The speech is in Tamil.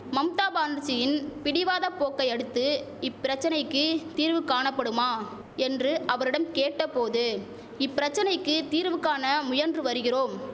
மம்தா பானர்ஜியின் பிடிவாத போக்கை அடுத்து இப்பிரச்சனைக்கு தீர்வு காணபடுமா என்று அவரிடம் கேட்ட போது இப்பிரச்சனைக்கு தீர்வு காண முயன்று வருகிறோம்